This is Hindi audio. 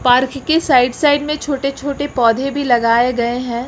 पार्क के साइड साइड में छोटे छोटे पौधे भी लगाए गए हैं।